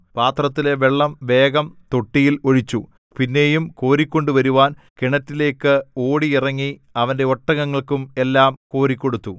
പാത്രത്തിലെ വെള്ളം വേഗം തൊട്ടിയിൽ ഒഴിച്ചു പിന്നെയും കോരിക്കൊണ്ടുവരുവാൻ കിണറ്റിലേക്ക് ഓടി ഇറങ്ങി അവന്റെ ഒട്ടകങ്ങൾക്കും എല്ലാം കോരിക്കൊടുത്തു